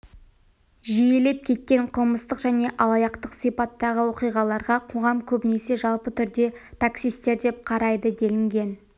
жиілеп кеткен қылмыстық және алаяқтық сипаттағы оқиғаларға қоғам көбінесе жалпы түрде таксисттер деп қарайды делінген